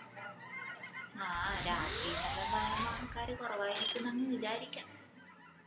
ആഹ് രാത്രീന്നെല്ലോം പറേമ്പോ ആള്ക്കാര് കുറവാരിക്കുന്ന് അങ് വിചാരിക്കാം